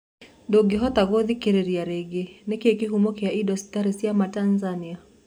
Ndũngĩhota gũthikereria rĩngĩ nĩkĩ kĩhũmo kia indo citari cia maa Tanzania?